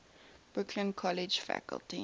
brooklyn college faculty